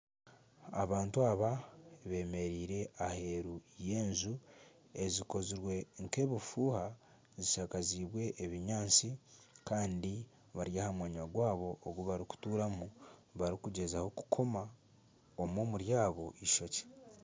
Abantu aba bemereire aheeru y'enju ezikozirwe nk'ebifuuha zishakaziibwe ebinyaatsi kandi bari aha mwanya gwabo ogu barikuturamu barikugyezaho kukoma omwe omuri abo ishokye.